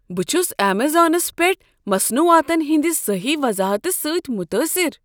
بہٕ چھس امیزانس پیٹھ مصنوعاتن ہٕنٛد صحیح وضاحتہٕ سۭتۍ متٲثر۔